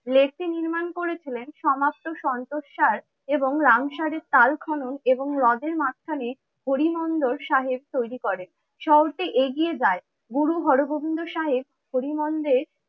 Lake টি নির্মাণ করেছিলেন সমাপ্ত সন্তোষ সার এবং রামসার কাল খনন এবং হ্রদের মাঝখানে হরি মন্দির সাহেব তৈরি করেন। শহরটি এগিয়ে যায় গুরু হরগোবিন্দ সাহেব হরি মন্দির